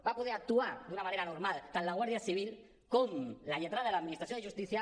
va poder actuar d’una manera normal tant la guàrdia civil com la lletrada de l’administració de justícia